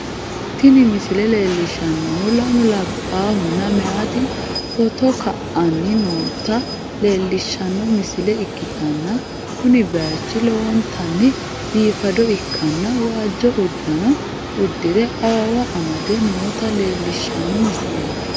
Tini misile leellishshannohu lamu labbahunna meyaati footo ka'anni noota leellishshanno misile ikkitanna, kuni bayichi lowontanni biifado ikkanna, waajjo uddano uddi're awawa amade noota leellishshanno misileeti.